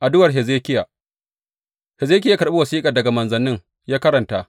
Addu’ar Hezekiya Hezekiya ya karɓi wasiƙar daga manzannin ya karanta.